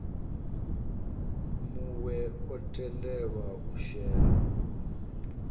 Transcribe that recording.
muwe o tendelwa u shela